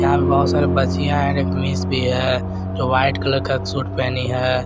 यहां पे बहुत सारी बच्चियों हैं भी है जो वाइट कलर का सूट पहनी है।